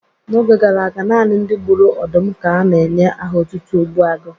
N'oge gara aga, naanị ndị gburu ọdụm ka na-enye aha otutu Ogbuagu.